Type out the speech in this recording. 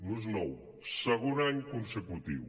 no és nou segon any consecutiu